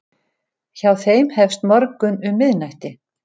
Hjá þeim hefst morgunn um miðnætti.